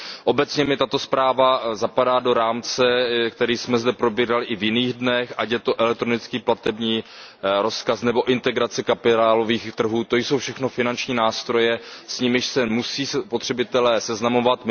Obecně mi tato zpráva zapadá do rámce, který jsme zde probírali i v jiných dnech, ať je to elektronický platební rozkaz nebo integrace kapitálových trhů, to jsou všechno finanční nástroje, s nimiž se musí spotřebitelé seznamovat.